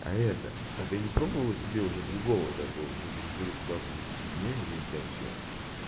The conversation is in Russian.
а это а ты не пробовала себе уже другого такого же жеребца завести не или у тебя что